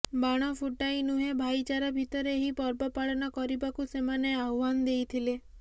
ବାଣ ଫୁଟାଇ ନୁହେଁ ଭାଇଚାରା ଭିତରେ ଏହି ପର୍ବ ପାଳନ କରିବାକୁ ସେମାନେ ଆହ୍ୱାନ ଦେଇଥିଲେ